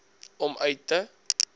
om uit te